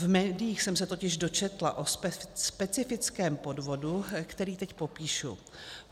V médiích jsem se totiž dočetla o specifickém podvodu, který teď popíšu.